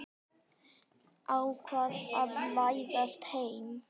Ákvað að læðast inn.